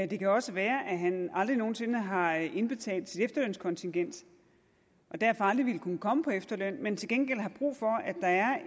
det kan også være at han aldrig nogen sinde har indbetalt sit efterlønskontingent og derfor aldrig ville kunne komme på efterløn men til gengæld har brug for